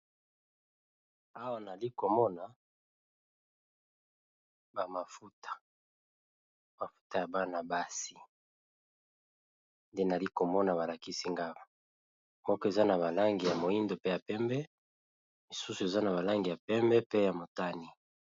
Awa nali ko mona ba mafuta, mafuta ya bana basi nde nali komona ba lakisi nga awa. Moko eza na balangi ya moyindo pe ya pembe, misusu eza na ba langi ya pembe pe ya motane .